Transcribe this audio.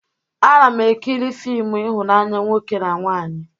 Ana m ekiri fịmụ ihụnanya nwoke na nwaanyị